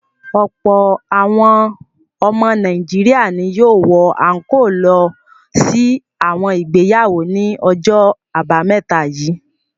Ọ̀pọ̀ àwọn ọmọ Nàìjíríà ni yóò wọ àńkóò lọ sí àwọn ìgbéyàwó ní ọjọ́ àbámẹ́ta yìí.